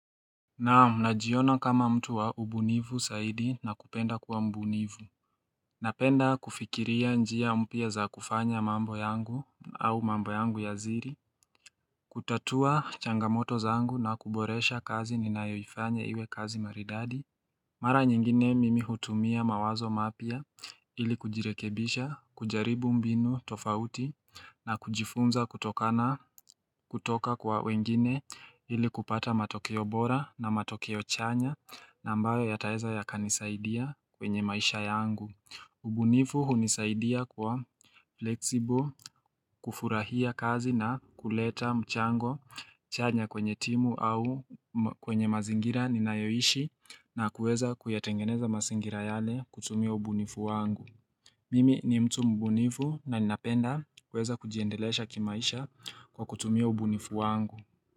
Najiona kama mtu wa ubunifu zaidi na kupenda kuwa mbunifu Napenda kufikiria njia mpya za kufanya mambo yangu au mambo yangu ya siri kutatua changamoto zangu na kuboresha kazi ninayoifanya iwe kazi maridadi Mara nyingine mimi hutumia mawazo mapya ili kujirekebisha kujaribu mbinu tofauti na kujifunza kutoka kwa wengine ili kupata matokeo bora na matokeo chanya na ambayo yataweza yakanisaidia kwenye maisha yangu ubunifu hunisaidia kwa flexible kufurahia kazi na kuleta mchango chanya kwenye timu au kwenye mazingira ninayoishi na kuweza kuyatengeneza mazingira yale kutumia ubunifu wangu Mimi ni mtu mbunifu na ninapenda kuweza kujiendelesha kimaisha kwa kutumia ubunifu wangu.